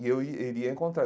E eu ia eu iria encontrar.